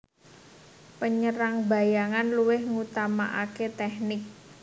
Penyerang bayangan luwih ngutamakaké tèknik